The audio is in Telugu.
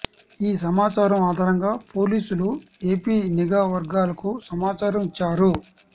ఈ సమాచారం ఆధారంగా పోలీసులు ఏపీ నిఘా వర్గాలకు సమాచారం ఇచ్చారు